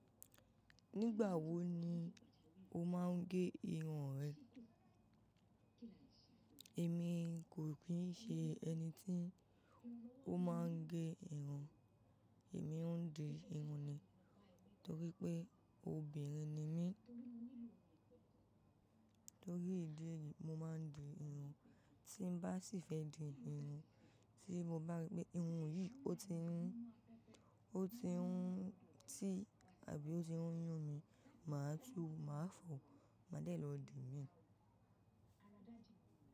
Nígbà wo ni o máa ń gé irun rẹ? Èmi kò kìí ṣe ẹni tí ó máa ń gé irun, èmi ń di irun ni. Nítorí pé obìnrin ni mí, torí ìdí eyí, mo máa ń di irun. Tí n bá sì fẹ́ di irun, tí mo bá rí pé irun yìí ó ti ń, ó ti ń tì àbí ó ti ń yún mi, màá tú, màá fọ, màá dẹ̀ lọ di mí.